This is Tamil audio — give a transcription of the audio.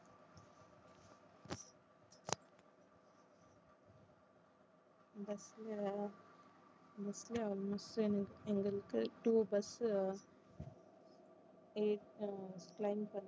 bus ல bus ல bus எங்களுக்கு two bus eight ten